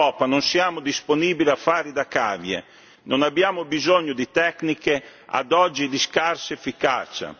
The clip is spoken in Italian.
In Europa, non siamo disponibili a fare da cavie, non abbiamo bisogno di tecniche, ad oggi, di scarsa efficacia.